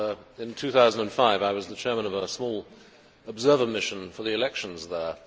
In 2005 I was the chairman of a small observer mission for the elections there.